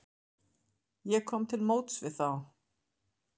Ég kom til móts við þá.